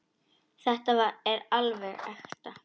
Þetta er alveg ekta.